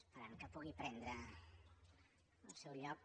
esperem que pugui prendre el seu lloc